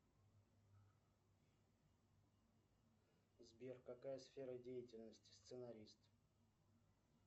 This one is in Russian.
сбер какая сфера деятельности сценарист